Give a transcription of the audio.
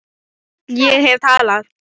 Ég hef talað